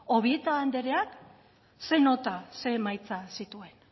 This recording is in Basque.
obieta andereak ze nota ze emaitzak zituen